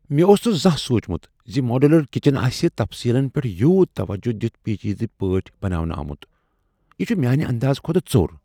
مےٚ اوس نہٕ زانٛہہ سوچمت ز ماڈیولر کچن آسہ تفصیلن پیٹھ یوت توجہ دتھ پیچیدٕ پٲٹھۍ بناونہٕ آمت۔ یہ چھ میانہ اندازہ کھۄتہٕ ژوٚر ۔